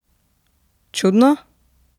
Čudno?